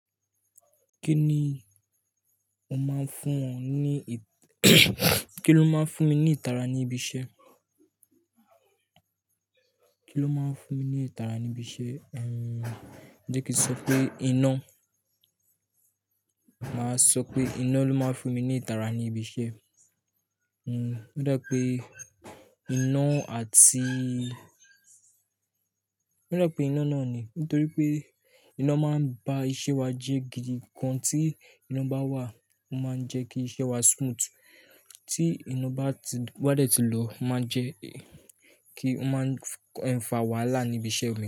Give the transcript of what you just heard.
Kí ni ó máa ń fún wọn ní, kí ló máa ń fún mi ní ìtara ní ibi iṣẹ́? Kí ló máa ń fún mi ní ìtara ní ibi iṣẹ́? Umm, jẹ́ kí n sọ pé iná. Màá sọ pé iná ló máa ń fún mi ní ìtara ní ibi iṣẹ́. Umm, ó dá pé iná àti-- ó dá pé iná náà ni nítorí pé iná máa ń bá iṣẹ́ wa jẹ́ gidi. Ìkan tí iná bá wà, ó máa ń jẹ́ kí iṣẹ́ wa smooth. Tí iná bá ti-- bá dẹ̀ ti lọ máa ń jẹ́ kí ó máa ń fa wàhálà níbi iṣẹ́ mi.